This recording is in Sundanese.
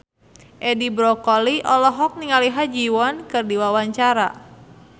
Edi Brokoli olohok ningali Ha Ji Won keur diwawancara